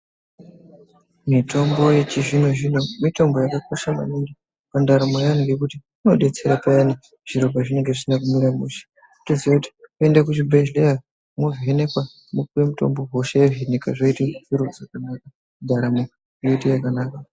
Mitombo yechizvino zvino mitombo yakakosha maningi mundaramo yeantu ngekuti inodetsere kurapa zviro pazvinenge zvisina kumira mushe wotoziya kuti unoenda kuchibhedhleya wovhenekwe ,wopiwe mutombo hosha yozvinika zvoita zviro zvakanaka ndaramo yoita yakanaka .